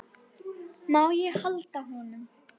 Má ég halda á honum?